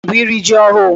Echi bụ iri ji ọhụụ.